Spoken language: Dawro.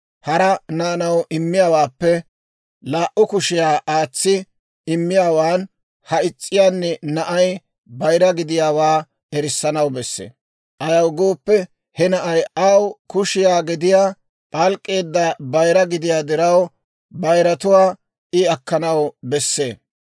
Hara naanaw immiyaawaappe laa"u kushiyaa aatsi immiyaawan ha is's'iyaani na'ay bayira gidiyaawaa erissanaw besse. Ayaw gooppe, he na'ay aw kushiyaa gediyaa p'alk'k'eedda bayira gidiyaa diraw, bayiratuwaa I akkanaw besse.